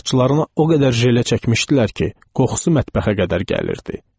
Saçlarını o qədər jele çəkmişdilər ki, qoxusu mətbəxə qədər gəlirdi.